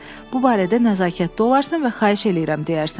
Bu barədə nəzakətli olarsan və xahiş eləyirəm deyərsən.